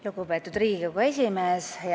Lugupeetud Riigikogu esimees!